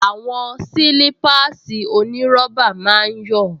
Àwọn sílípáàsì onírọ́bà máa ń yọ̀